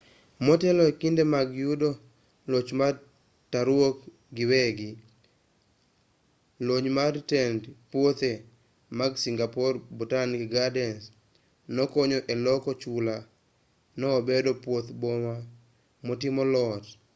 motelo e kinde mag yudo loch mar taruok giwegi lony mar tend puothe mag singapore botanic gardens nokonyo e loko chula no obedo puoth boma motimo lot